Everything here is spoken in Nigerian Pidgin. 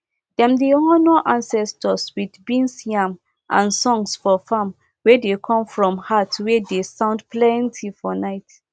dem dey honour ancestors with beans yam and songs for farm wey dey come from heart wey dey sound plenty for night